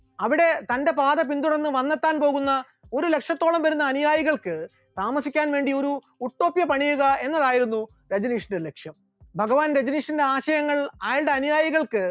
അവിടെ തന്റെ പാത പിന്തുടർന്ന് വന്നെത്താൻ പോകുന്ന ഒരുലക്ഷത്തോളം വരുന്ന അനുയായികൾക്ക് താമസിക്കാൻ വേണ്ടി ഒരു ഉട്ടോപ്യ പണിയുക എന്നതായിരുന്നു രജനീഷിന്റെ ലക്ഷ്യം, ഭഗവാൻ രജനീഷിന്റെ ആശയങ്ങൾ അയാളുടെ അനുയായികൾക്ക്